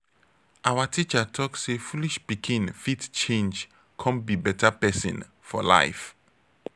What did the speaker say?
our teacher talk say foolish pikin fit change come be better pesin for life.